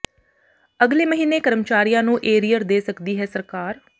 ਅਗਲੇ ਮਹੀਨੇ ਕਰਮਚਾਰੀਆਂ ਨੂੰ ਏਰੀਅਰ ਦੇ ਸਕਦੀ ਹੈ ਸਰਕਾਰ